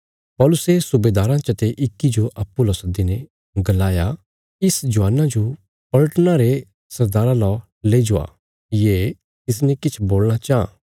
पौलुसे सुबेदाराँ चते इक्की जो अप्पूँ ला सद्दीने गलाया इस जवाना जो पलटना रे सरदारा ला लई जावा ये तिसने किछ बोलणा चाँह